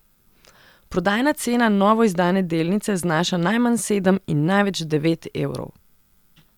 Prodajna cena novoizdane delnice znaša najmanj sedem in največ devet evrov.